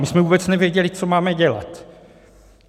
My jsme vůbec nevěděli, co máme dělat.